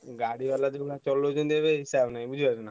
ଗାଡିବାଲା ଯୋଉଭଳିଆ ଚଲଉଛନ୍ତି ଏବେ ହିସାବ ନାହିଁ ବୁଝିପାରୁଛୁନା?